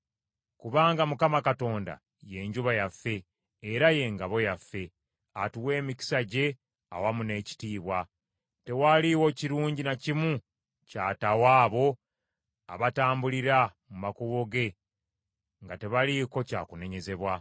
Kubanga Mukama Katonda ye njuba yaffe era ye ngabo yaffe; atuwa emikisa gye awamu n’ekitiibwa; tewaliiwo kirungi na kimu ky’ataawa abo abatambulira mu makubo ge nga tebaliiko kyakunenyezebwa.